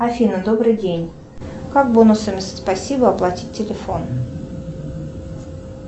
афина добрый день как бонусами спасибо оплатить телефон